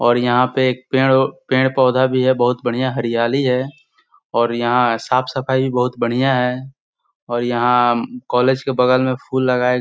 और यहाँ पे एक पेड़ अ पेड़-पौधा भी है बहुत बढ़िया हरियाली है और यहाँ साफ़ सफाई भी बहुत बढ़िया हैं और यहाँ कॉलेज के बगल में फूल लगाए --